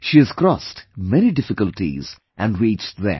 She has crossed many difficulties and reached there